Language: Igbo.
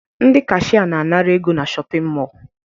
Ndị kashịye na-anara ego na shọpịn mọọ